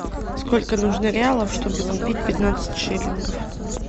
сколько нужно реалов чтобы купить пятнадцать шиллингов